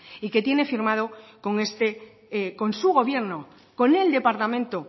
y que tiene firmado con este con su gobierno con el departamento